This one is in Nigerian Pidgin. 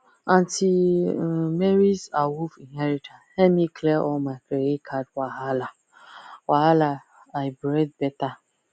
aunty um marys awoof inheritance help me clear all my credit card wahala wahala i breathe better